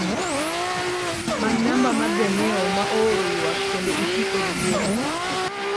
many namba mar janyiewo ma ooro ywak kendo iti kod yiero